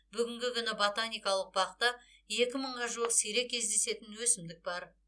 бүгінгі күні ботаникалық бақта екі мыңға жуық сирек кездесетін өсімдік бар